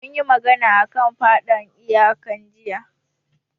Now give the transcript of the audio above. Mun yi magana a kan faɗan iyaka jiya